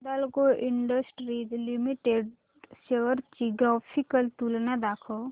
Hindalco industries limited shares ची graphical तुलना दाखव